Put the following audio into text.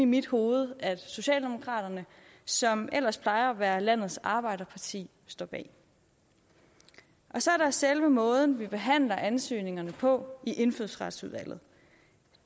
mit hoved at socialdemokraterne som ellers plejer at være landets arbejderparti står bag det så er der selve måden vi behandler ansøgningerne på i indfødsretsudvalget